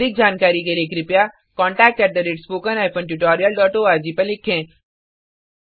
अधिक जानकारी के लिए spoken hyphen tutorial dot ORG पर लिखें